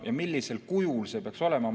Millisel kujul see peaks olema?